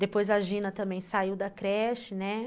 Depois a Gina também saiu da creche, né?